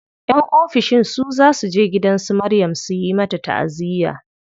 Yan ofishin su za suje gidan su Zainab su yi mata taʼaziya.